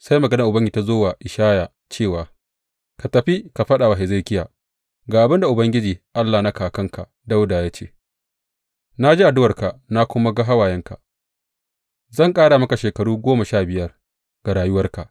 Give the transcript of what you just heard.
Sai maganar Ubangiji ta zo wa Ishaya cewa, Ka tafi ka faɗa wa Hezekiya, Ga abin da Ubangiji Allah na kakanka Dawuda, ya ce na ji addu’arka na kuma ga hawayenka; zan ƙara maka shekaru goma sha biyar ga rayuwarka.